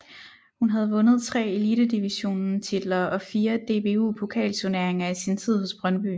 Hun havde vundet tre Elitedivisionen titler og fire DBU pokalturneringer i sin tid hos Brøndby